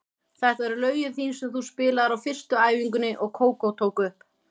Þetta eru lögin þín sem þú spilaðir á fyrstu æfingunni og Kókó tók upp.